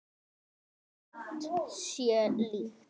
Margt sé líkt.